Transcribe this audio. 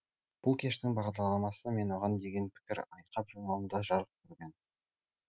бұл кештің бағдарламасы мен оған деген пікір айқап журналында жарық көрген